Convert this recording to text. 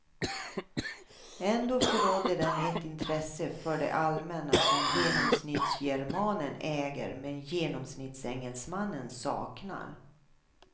Ändå förrådde den ett intresse för det allmänna som genomsnittsgermanen äger men genomsnittsengelsmannen saknar.